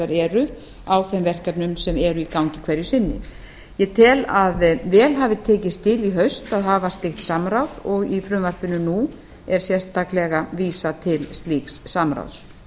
eru á þeim verkefnum sem eru í gangi hverju sinni ég tel að vel hafi tekist til í haust að hafa slíkt samráð og í frumvarpinu nú er sérstaklega vísað til slíks samráðs